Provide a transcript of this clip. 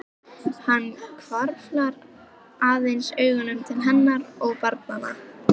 Hann hvarflar aðeins augum til hennar og barnanna.